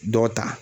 Dɔ ta